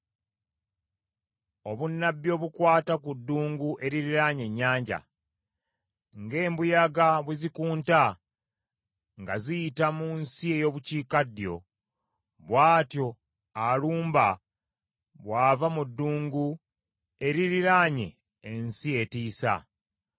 Obunnabbi obukwata ku Ddungu eririraanye ennyanja: Ng’embuyaga bwe zikunta nga ziyita mu nsi ey’obukiikaddyo, bw’atyo alumba bw’ava mu ddungu eririraanye ensi etiisa.